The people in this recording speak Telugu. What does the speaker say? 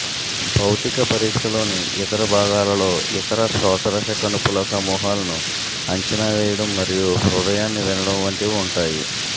భౌతిక పరీక్షలోని ఇతర భాగాలలో ఇతర శోషరస కణుపుల సమూహాలను అంచనా వేయడం మరియు హృదయాన్ని వినడం వంటివి ఉంటాయి